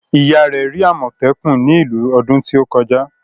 Ìyá rẹ̀ rí àmọ̀tẹ́kùn ní ìlú ọdún tó kọjá.